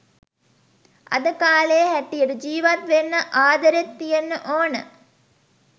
අද කාලේ හැටියට ජීවත් වෙන්න ආදරෙත් තියෙන්න ඕන